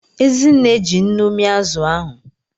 Ezinne ji nnu mia azụ ahụ.